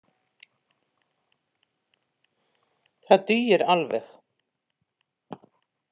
Það dugir alveg.